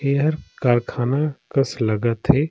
एहर कारखाना कस लगत हे ।